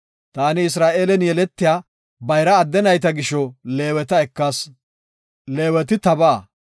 “Taani Isra7eelen yeletiya bayra adde nayta gisho Leeweta ekas. Leeweti tabaa.